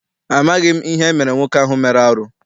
Amaghị m ihe emere nwoke ahụ mere arụ.